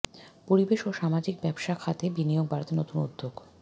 পরিবেশ ও সামাজিক ব্যবসা খাতে বিনিয়োগ বাড়াতে নতুন উদ্যোগ